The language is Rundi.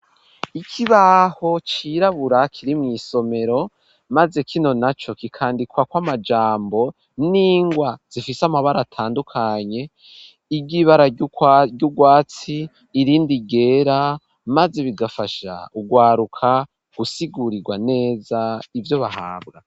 Ikibaho cirabura kiri mw'iisomero maze kino na co kikandikwa kw'amajambo n'ingwa zifise amabara atandukanye igibara ry'ugwatsi irindi igera maze bigafasha ugwaruka gusigurirwa neza ivyo bahabwa.